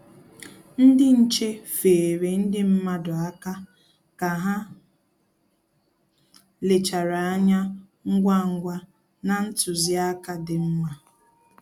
Ndị nche feere ndị mmadụ aka ka ha lechara anya ngwa ngwa na ntụziaka dị mma